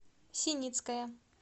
синицкая